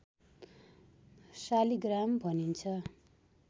शालिग्राम भनिन्छ